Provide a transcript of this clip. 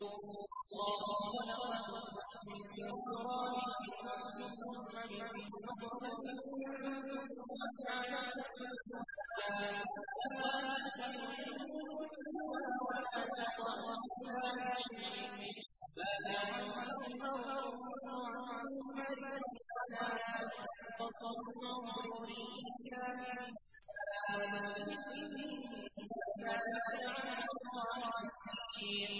وَاللَّهُ خَلَقَكُم مِّن تُرَابٍ ثُمَّ مِن نُّطْفَةٍ ثُمَّ جَعَلَكُمْ أَزْوَاجًا ۚ وَمَا تَحْمِلُ مِنْ أُنثَىٰ وَلَا تَضَعُ إِلَّا بِعِلْمِهِ ۚ وَمَا يُعَمَّرُ مِن مُّعَمَّرٍ وَلَا يُنقَصُ مِنْ عُمُرِهِ إِلَّا فِي كِتَابٍ ۚ إِنَّ ذَٰلِكَ عَلَى اللَّهِ يَسِيرٌ